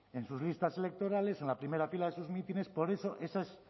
en sus listas electorales en la primera fila de sus mítines por eso esa es